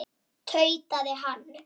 tautaði hann.